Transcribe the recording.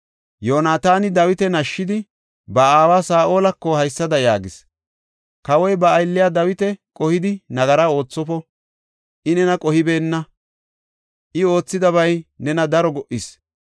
Yoonataani Dawita nashshidi, ba aawa Saa7olako haysada yaagis; “Kawoy ba aylliya Dawita qohidi nagara oothofo; I nena qohibeenna; I oothidabay nena daro go77is.